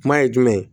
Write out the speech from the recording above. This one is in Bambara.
Kuma ye jumɛn ye